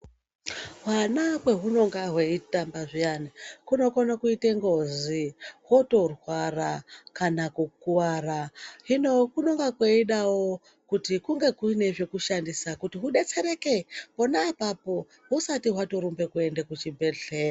Hwana paunonga hweitamba zviyani hunokona kuita ngozi hwotorwara kana kukuwara hino kunonga kweidawo kuti kunge kune zvekushandisa kuti hudetsereke pona apapo husati warumba kuenda kuchibhedhlera.